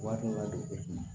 Waati dɔ la o bɛ na